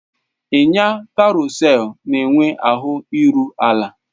Ịnya karosel na-enwe ahụ iru ala.